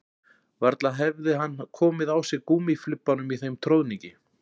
Varla hefði hann komið á sig gúmmíflibbanum í þeim troðningi